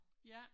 Ja